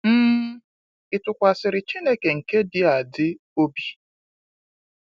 um Ị tụkwasịrị Chineke nke dị adị obi?